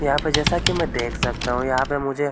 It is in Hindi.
यहाँ पे जैसा कि मै देख सकता हु यहाँ पे मुझे--